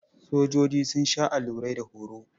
Sojoji sun sha allurai da horo.